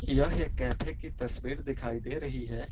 यह एक कैफे की तस्वीर दिखाई दे रही है।